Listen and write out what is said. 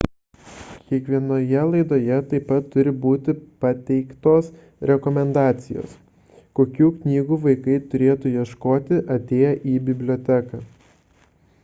kiekvienoje laidoje taip pat turi būti pateiktos rekomendacijos kokių knygų vaikai turėtų ieškoti atėję į biblioteką